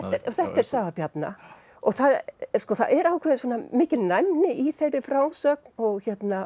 þetta er saga Bjarna það er ákveðin mikil næmni í þeirri frásögn og